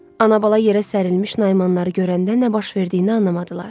Anabala yerə sərilmiş Naimanları görəndə nə baş verdiyini anlamadılar.